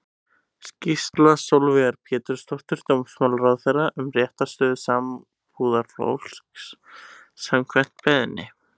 Skýrsla Sólveigar Pétursdóttur dómsmálaráðherra um réttarstöðu sambúðarfólks, samkvæmt beiðni.